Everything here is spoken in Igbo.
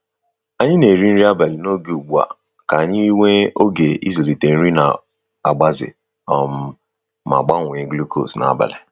Anyi na eri nri abali n'oge ụgbu a ,ka anyi wee oge izulite nri na agbaze um ma gbanwe glucose n'abali